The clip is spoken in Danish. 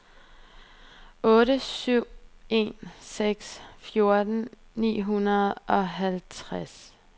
otte syv en seks fjorten ni hundrede og halvfjerds